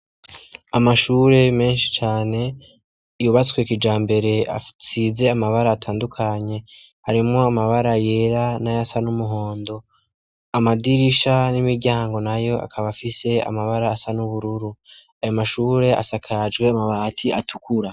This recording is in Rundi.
Amashure menshi yubatswe kijambere asize amabara atandukanye, harimwo amabara yera ,nayasa n'umuhondo ,amadirisha n'imiryango nayo akaba afise amabara asa n'ubururu ayo mashure asakajwe amabati atukura.